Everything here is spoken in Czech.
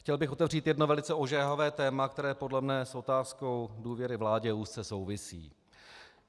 Chtěl bych otevřít jedno velice ožehavé téma, které podle mě s otázkou důvěry vládě úzce souvisí.